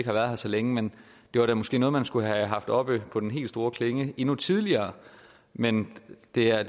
har været her så længe men det var da måske noget man skulle have haft oppe på den helt store klinge endnu tidligere men det er